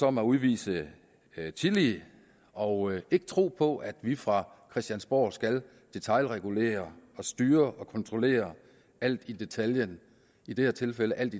om at udvise tillid og ikke tro på at vi fra christiansborg skal regulere styre og kontrollere alt i detaljen i det her tilfælde alt